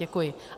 Děkuji.